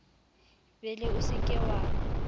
bele o se ke wa